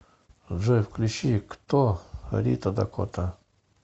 джой включи кто рита дакота